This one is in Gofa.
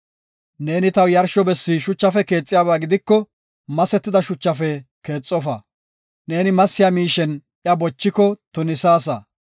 Neeni taw yarsho bessi shuchafe keexiyaba gidiko masetida shuchafe keexofa. Neeni massiya miishen iya bochiko tunisaasa.